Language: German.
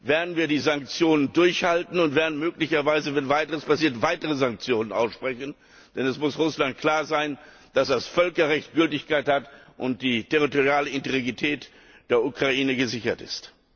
werden wir die Sanktionen durchhalten und werden möglicherweise, wenn weiter nichts passiert, weitere Sanktionen aussprechen, denn es muss Russland klar sein, dass das Völkerrecht Gültigkeit hat und die territoriale Integrität der Ukraine gesichert ist.